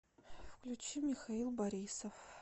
включи михаил борисов